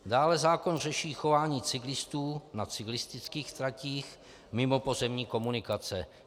Dále zákon řeší chování cyklistů na cyklistických tratích mimo pozemní komunikace.